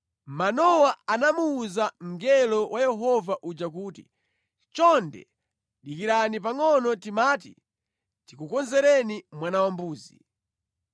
Manowa anamuwuza mngelo wa Yehova uja kuti, “Chonde dikirani pangʼono, timati tikukonzereni mwana wambuzi.”